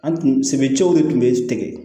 An tun se cɛw de tun bɛ tigɛ